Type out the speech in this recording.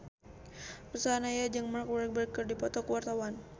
Ruth Sahanaya jeung Mark Walberg keur dipoto ku wartawan